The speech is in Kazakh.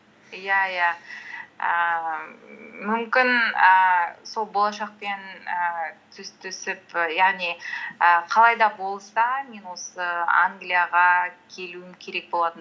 иә иә ііі мүмкін ііі сол болашақ пен ііі түсіп яғни і қалай да болса мен осы англияға келуім керек болатын